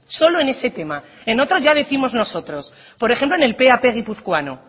solo en este tema en otros ya décimos nosotros por ejemplo en el tav guipuzcoano